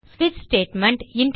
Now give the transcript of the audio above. ஸ்விட்ச் ஸ்டேட்மெண்ட்